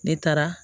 Ne taara